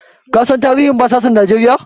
Ka san tarihin yaƙin basasan Najeriya?